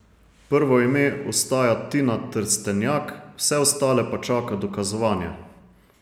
Prvo ime ostaja Tina Trstenjak, vse ostale pa čaka dokazovanje.